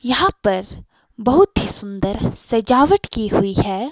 यहाँ पर बहुत ही सुंदर सजावट की हुई है।